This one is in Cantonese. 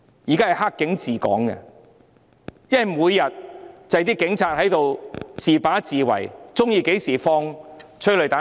現在是"黑警"治港，因為每天也只是警察獨斷獨行，隨時喜歡便放催淚彈。